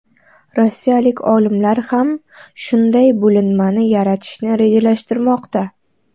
Rossiyalik olimlar ham shunday bo‘linmani yaratishni rejalashtirmoqda.